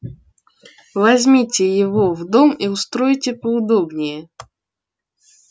возьмите его в дом и устройте поудобнее